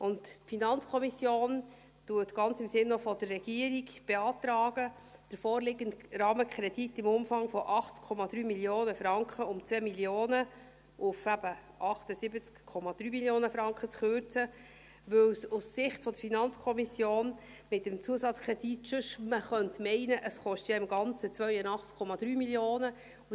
Die FiKo beantragt, ganz im Sinne auch der Regierung, den vorliegenden Rahmenkredit im Umfang von 80,3 Mio. Franken um 2 Mio. Franken eben auf 78,3 Mio. Franken zu kürzen, weil man sonst aus Sicht der FiKo mit dem Zusatzkredit meinen könnte, es koste ja insgesamt 82,3 Mio. Franken.